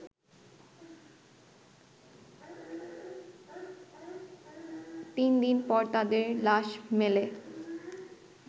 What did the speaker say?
তিনদিন পর তাদের লাশ মেলে